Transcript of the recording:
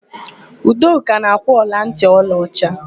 Udoka na-akwụ ọlantị ọlaọcha.